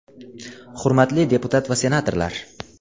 Hurmatli deputat va senatorlar!